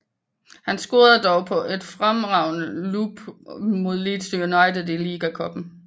Han scorede dog på et fremragende lop mod Leeds United i Liga Cupen